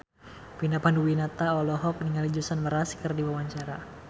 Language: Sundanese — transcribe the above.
Vina Panduwinata olohok ningali Jason Mraz keur diwawancara